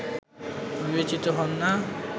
বিবেচিত হন না